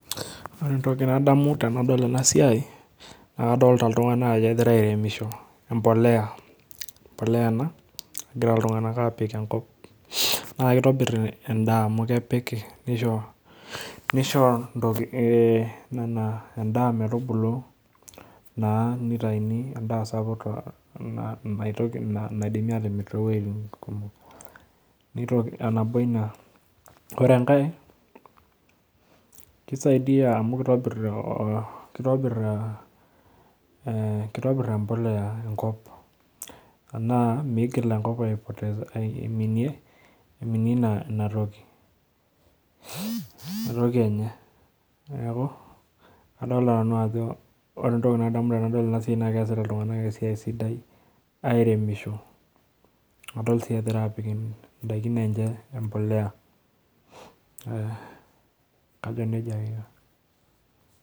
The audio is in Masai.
Ore entoki nadamu tenadol ena esiai naa kadolita iltunganak ajo kegira aeremisho empolea ena egira iltunganak apik enkop naa kitobir endaa amu kepik nishoo eh endaa metubulu naa nitayuni endaa sapuk naitoki naidimi atimir tooweitin kumok nitoki nabo ina wore enkae kisaidia amu kitobir eh embolea enkop enaa migil enkop aipotesa aiminie ina toki enye neaku adolita Nanu ajo wore entoki nadamu tenadol ena esiai naa keasita iltunganak esiai sidai aeremisho nadol sii egira apik ndaikin enche embolea eh kajo nejia ake